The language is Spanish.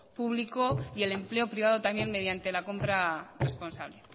público y el empleo privado mediante la compra responsable